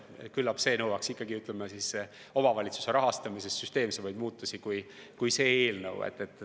Küllap see nõuaks omavalitsuste rahastamises süsteemsemaid muudatusi, kui see eelnõu pakub.